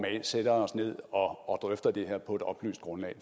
sætter os ned og drøfter det her på et oplyst grundlag